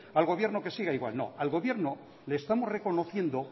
al gobierno que siga igual no al gobierno le estamos reconociendo